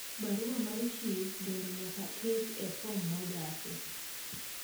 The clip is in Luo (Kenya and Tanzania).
barua mar chif bende nyaka ket e fom mojasi